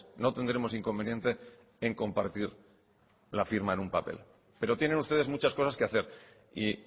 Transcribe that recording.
no tendremos inconveniente en compartir la firma en un papel pero tienen ustedes muchas cosas que hacer y